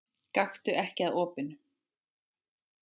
Gakktu ekki að opinu.